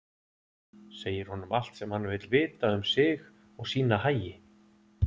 Segir honum allt sem hann vill vita um sig og sína hagi.